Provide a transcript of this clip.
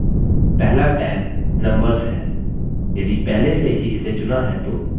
पहला tab numbers है यदि पहले से ही इसे चुना है तो इस पर click करें